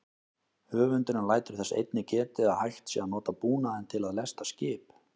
Höfundurinn lætur þess einnig getið að hægt sé að nota búnaðinn til að lesta skip.